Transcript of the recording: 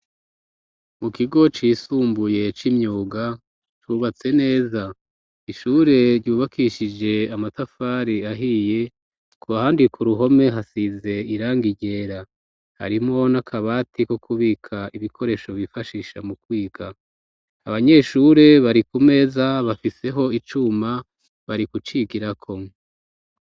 Mu kigo cisumbuye c'imyuga cubatse neza ,ishure ryubakishije amatafari ahiye ku handi ku ruhome hasize irangi ryera, harimwo n'akabati ko kubika ibikoresho bifashisha mu kwiga ,abanyeshure bari ku meza bafiseho icuma bari kucigirako.